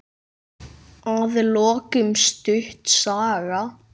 Að lokum stutt saga.